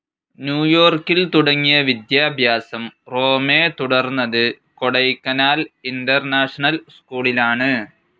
New യോർക്കിൽ തുടങ്ങിയ വിദ്യാഭ്യാസം റോമെ തുടർന്നത് കൊടൈക്കനാൽ ഇന്റർനാഷണൽ സ്കൂളിലാണ്.